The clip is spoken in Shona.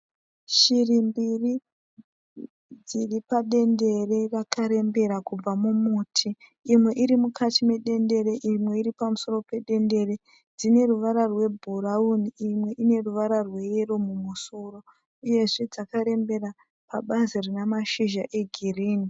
Shiri mbiri dziri padendere rakarembera kubva mumuti. Imwe iri mukati medendere imwe iri pamusoro pedendere. Dzine ruvara rwebhurauni imwe ine ruvara rweyero mumusoro, uyezve dzakarembera pabazi rina mashizha egirini.